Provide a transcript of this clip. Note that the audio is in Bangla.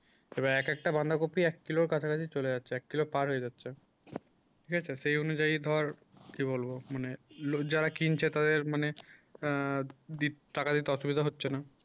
এবার এক একটা বাঁধাকপি এক কিলোর কাছাকাছি চলে যাচ্ছি এক কিলো পার হয়ে যাচ্ছে ঠিক আছে সেই অনুযায়ী ধর কি বলবো মানে যারা কিনছে তাদের মনে আ হচ্ছে না